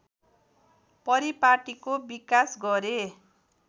परिपाटिको विकास गरे